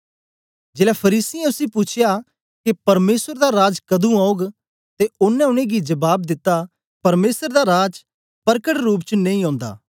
जेलै फरीसियें उसी पूछया के परमेसर दा राज कदुं औग ते ओनें उनेंगी जबाब दिता परमेसर दा राज परकट रूप च नेई ओंदा